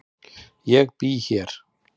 Ég bý hér.